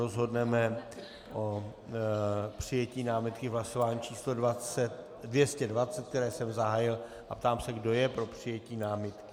Rozhodneme o přijetí námitky v hlasování číslo 220, které jsem zahájil, a ptám se, kdo je pro přijetí námitky.